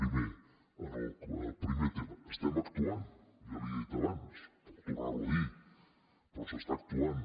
primer en el primer tema estem actuant ja li ho he dit abans puc tornar ho a dir però s’està actuant